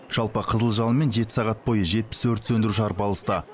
жалпы қызыл жалынмен жеті сағат бойы жетпіс өрт сөндіруші арпалысты